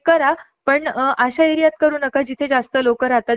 आपण लोकाना समजावून गोष्टी क्लिअर करू शकतो . आपल्यासारखे लोक